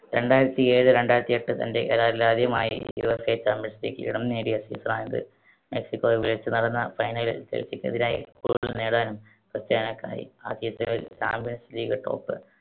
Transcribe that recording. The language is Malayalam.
രണ്ടായിരത്തിയേഴ് രണ്ടായിരത്തിയെട്ട്. തൻ്റെ career ൽ ആദ്യമായി യുവേഫ champions league കിരീടം നേടിയ season ണിത്. മെക്സികോവിൽ വെച്ച് നടന്ന final ൽ ചെൽസിക്കെതിരായി goal നേടാനും ക്രിസ്റ്റിയാനോയ്ക്കായി. ആ season ൽ champions league top